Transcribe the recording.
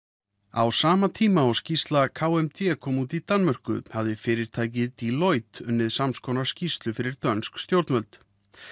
á sama tíma og skýrsla k m d kom út í Danmörku hafði fyrirtækið Deloitte unnið samskonar skýrslu fyrir dönsk stjórnvöld